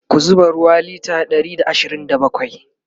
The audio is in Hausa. ka zuba ruwa litre Ɗari da ashirin da bakwai!